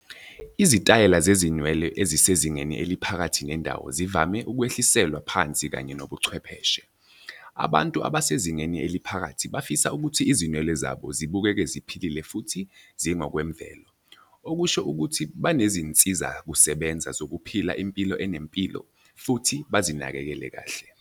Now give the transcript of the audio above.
Izitayela zezinwele ezisezingeni eliphakathi nendawo zivame ukwehliselwa phansi kanye nobuchwepheshe. Abantu abasezingeni eliphakathi bafisa ukuthi izinwele zabo zibukeke ziphilile futhi zingokwemvelo, okusho ukuthi banezinsizakusebenza zokuphila impilo enempilo futhi bazinakekele kahle.